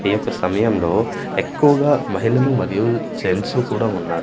ఈ యొక్క సమయంలో ఎక్కువగా మహిళలు మరియు జెంట్సు కూడా ఉన్నారు.